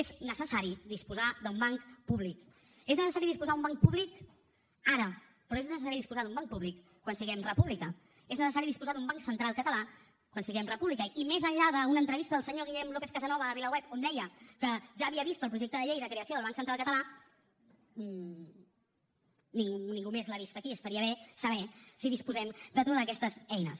és necessari disposar d’un banc públic és necessari disposar d’un banc públic ara però és necessari disposar d’un banc públic quan siguem república és necessari disposar d’un banc central català quan siguem república i més enllà d’una entrevista al senyor guillem lópez casasnovas a vilaweb on deia que ja havia vist el projecte de llei de creació del banc central català i ningú més l’ha vist aquí estaria bé saber si disposem de totes aquestes eines